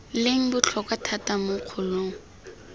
leng botlhokwa thata mo kgolong